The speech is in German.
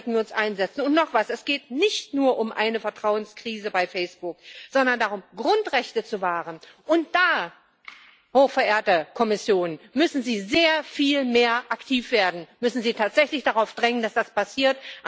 Dafür sollten wir uns einsetzen. Und noch etwas Es geht nicht nur um eine Vertrauenskrise bei Facebook, sondern darum, Grundrechte zu wahren, und da, hochverehrte Kommission, müssen Sie sehr viel mehr aktiv werden, da müssen Sie tatsächlich darauf drängen, dass das passiert.